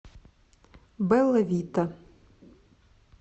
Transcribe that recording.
бэлла вита